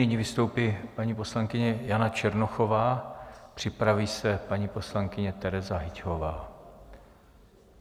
Nyní vystoupí paní poslankyně Jana Černochová, připraví se paní poslankyně Tereza Hyťhová.